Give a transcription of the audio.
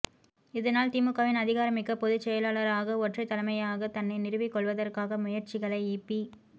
இதனால் திமுகவின் அதிகாரமிக்க பொதுச் செயலாளராக ஒற்றைத் தலைமையாக தன்னை நிறுவிக் கொள்வதற்கான முயற்சிகளை இபி